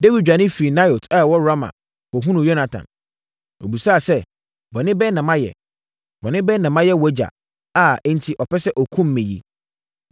Dawid dwane firii Naiot a ɛwɔ Rama kɔhunuu Yonatan. Ɔbisaa sɛ, “Bɔne bɛn na mayɛ? Bɔne bɛn na mayɛ wʼagya, a enti ɔpɛ sɛ ɔkum me yi?”